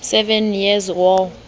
seven years war